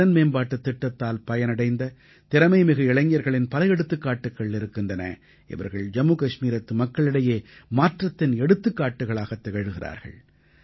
திறன்மேம்பாட்டுத் திட்டத்தால் பயனடைந்த திறமைமிகு இளைஞர்களின் பல எடுத்துக்காட்டுகள் இருக்கின்றன இவர்கள் ஜம்மு கஷ்மீரத்து மக்களுக்கிடையே மாற்றத்தின் எடுத்துக்காட்டுக்களாகத் திகழ்கிறார்கள்